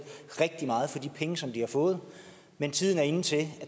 rigtig meget for de penge som de har fået men tiden er inde til at